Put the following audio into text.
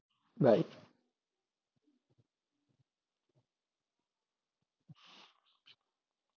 bye